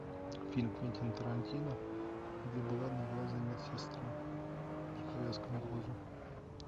фильм квентина тарантино где была одноглазая медсестра с повязкой на глазу